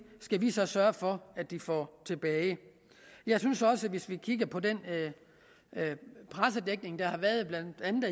skal vi så sørge for at de får tilbage jeg synes også at hvis vi kigger på den pressedækning der har været blandt andet